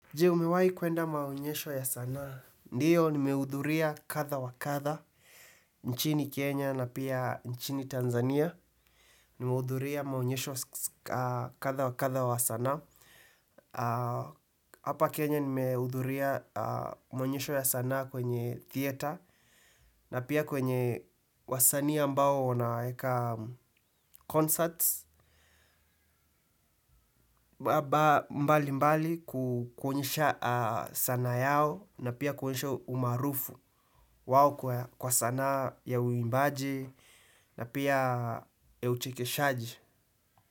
Je, umewahi kwenda maonyesho ya sanaa. Ndiyo, nimehudhuria kadha wakadha. Nchini Kenya na pia nchini Tanzania. Nimehudhuria maonyesho kadha wakadha wa sanaa. Hapa Kenya nimehudhuria maonyesho ya sanaa kwenye theatre. Na pia kwenye wasanii ambao wanaweka concerts. Mbalimbali kuonyesha sanaa yao na pia kuonyesha umarufu. Wao kwa sanaa ya uimbaji na pia uchekeshaji.